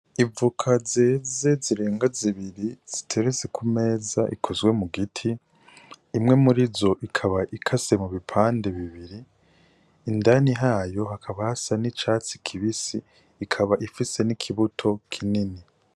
Ivuka zeze zirenga zibiri ziterezi ku meza ikozwe mu giti imwe muri zo ikaba ikase mu bipande bibiri indani hayo hakaba hasa n'icatsi kibisi ikaba ifise n'ikibuto kinini.